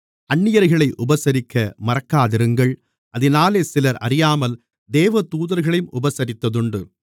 அந்நியர்களை உபசரிக்க மறக்காதிருங்கள் அதினாலே சிலர் அறியாமல் தேவதூதர்களையும் உபசரித்ததுண்டு